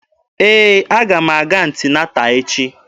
Ee, aga m aga anti-nata echi.